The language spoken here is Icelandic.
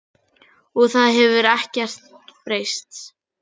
Og það hefur ekkert breyst.